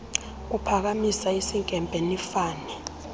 uphakamisa isinkempe nifane